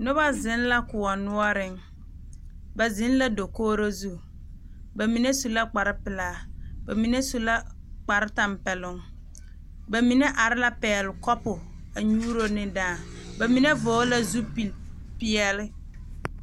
Noba zeŋ la koɔ noɔreŋ ba zeŋ la dakogro zu ba mine su la kparepelaa ba mine su la kparetɛmpɛloŋ ba mine are la pɛgle kapu a nyuuro ne dãã ba mine vɔgle la zupilipeɛle.